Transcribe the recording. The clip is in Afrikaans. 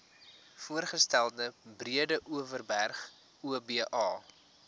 voorgestelde breedeoverberg oba